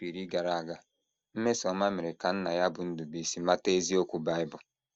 Afọ iri gara aga, Mmesommamere ka nna ya bụ́ Ndubuisi mata eziokwu Bible.